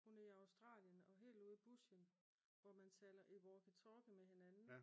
Hun er i Australien og helt ude i bushen hvor man taler i walkie-talkie med hinanden